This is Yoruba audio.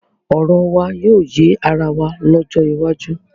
Ọ̀rọ̀ wà yóò yé ara wa lọ́jọ́ iwájú.